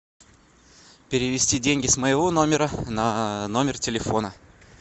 перевести деньги с моего номера на номер телефона